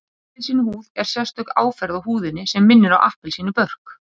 Appelsínuhúð er sérstök áferð á húðinni sem minnir á appelsínubörk